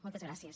moltes gràcies